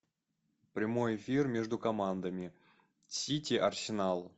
прямой эфир между командами сити арсенал